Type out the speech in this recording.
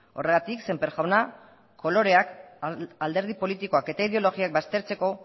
horregatik sémper jauna koloreak alderdi politikoak eta ideologiak baztertzeko